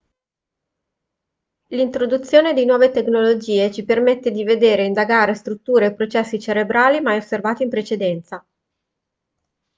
l'introduzione di nuove tecnologie ci permette di vedere e indagare strutture e processi cerebrali mai osservati in precedenza